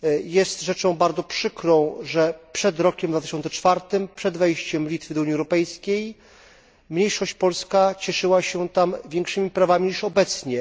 Jest rzeczą bardzo przykrą, że przed rokiem 2004, przed wejściem Litwy do Unii Europejskiej, mniejszość polska cieszyła się tam większymi prawami niż obecnie.